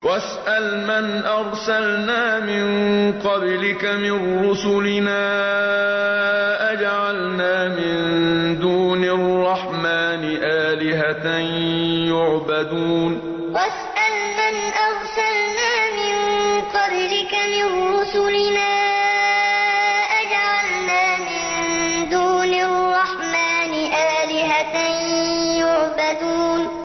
وَاسْأَلْ مَنْ أَرْسَلْنَا مِن قَبْلِكَ مِن رُّسُلِنَا أَجَعَلْنَا مِن دُونِ الرَّحْمَٰنِ آلِهَةً يُعْبَدُونَ وَاسْأَلْ مَنْ أَرْسَلْنَا مِن قَبْلِكَ مِن رُّسُلِنَا أَجَعَلْنَا مِن دُونِ الرَّحْمَٰنِ آلِهَةً يُعْبَدُونَ